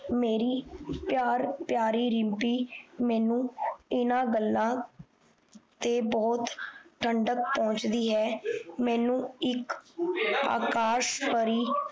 ਮੇਰੀ ਪਿਆਰ ਪਿਆਰੀ ਰਿਮਪੀ ਮੈਨੂੰ ਇਹਨਾਂ ਗੱਲਾਂ ਤੇ ਬਹੁਤ ਠੰਡਕ ਪਹੁੰਚਦੀ ਹੈ ਮੈਨੂੰ ਇੱਕ ਅਕਾਸ਼ ਪਰੀ